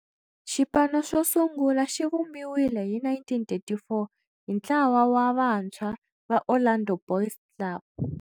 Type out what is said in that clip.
Xipano xosungula xivumbiwile hi 1934 hi ntlawa wa vantshwa va Orlando Boys Club.